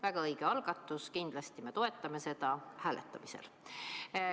Väga õige algatus, kindlasti me toetame seda hääletamisel.